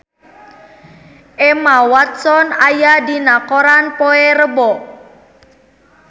Emma Watson aya dina koran poe Rebo